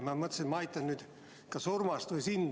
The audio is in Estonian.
Ma mõtlesin, et ma aitan – kas Urmast või sind.